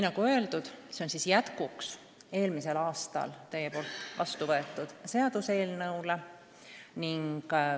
Nagu öeldud, see on jätkuks eelmisel aastal Riigikogus vastu võetud seaduseelnõule.